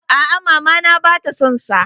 A'a, mama na ba ta son sa.